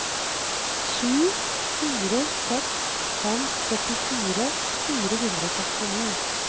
sju fire seks fem førtifire fire hundre og sekstini